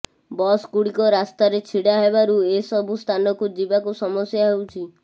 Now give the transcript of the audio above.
ବସଗୁଡିକ ରାସ୍ତାରେ ଛିଡା ହେଉଥିବାରୁ ଏ ସବୁ ସ୍ଥାନକୁ ଯିବାକୁ ସମସ୍ୟା ହେଉଛି